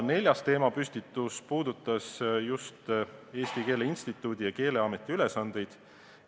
Neljas teemapüstitus puudutas Eesti Keele Instituudi ja Keeleameti ülesandeid.